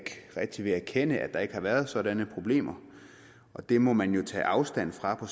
rigtig vil erkende at der ikke har været sådanne problemer og det må man jo tage afstand fra på